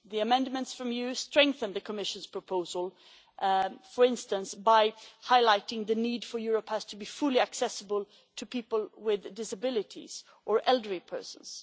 The amendments from you strengthen the Commission's proposal, for instance by highlighting the need for Europass to be fully accessible to people with disabilities or elderly persons.